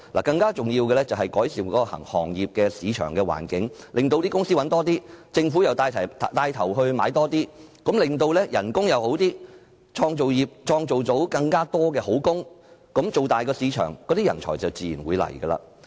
更重要的是，政府應改善行業的市場環境，令企業賺取更多利潤，政府又帶頭購買更多產品，從而令薪酬上升，創造更多好工，把市場做大，這樣人才便自然會來。